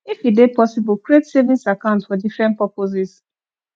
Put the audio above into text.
if e dey possible create savings account for different purposes